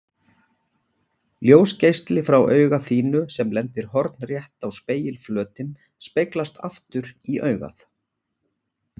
Ljósgeisli frá auga þínu sem lendir hornrétt á spegilflötinn speglast aftur í augað.